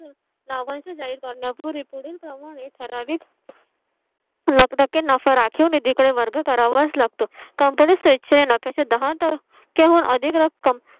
लाभांश जाहीर करण्यापूर्वी पुढील प्रमाणे ठरावीक. मग टक्के नफा राखीव निधी कडे वर्ग करावाच लागतो. company किव्हा अधिक रक्कम